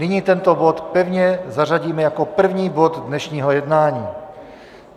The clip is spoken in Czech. Nyní tento bod pevně zařadíme jako první bod dnešního jednání.